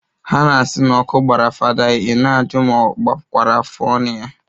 Ha na-asi n'ọkụ gbara fada i na-ajụ ma o gbakwara afọọnụ ya